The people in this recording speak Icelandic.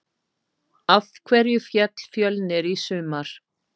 Af hverju féll Fjölnir í sumar?